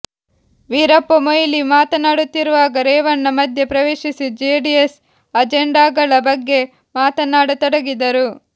ವೀರಪ್ಪ ಮೊಯಿಲಿ ಮಾತನಾಡುತ್ತಿರುವಾಗ ರೇವಣ್ಣ ಮಧ್ಯ ಪ್ರವೇಶಿಸಿ ಜೆಡಿಎಸ್ ಅಜೆಂಡಾಗಳ ಬಗ್ಗೆ ಮಾತನಾಡತೊಡಗಿದರು